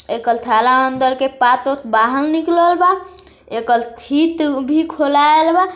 एक ठेले के अदंर पाठ को बाहर निकलवा एक थित खुलल बा